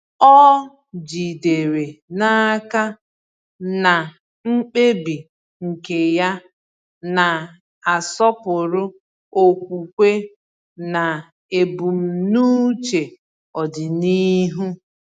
Ọ jidere n’aka na mkpebi nke ya na-asọpụrụ okwukwe na ebumnuche ọdịnihu.